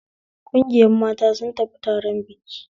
Ƙungiyar mata sun tafi taron biki